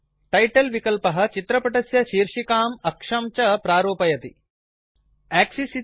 title विकल्पः चित्रपटस्य शीर्षिकाम् अक्षं च प्रारूपयति फार्मेट् करोति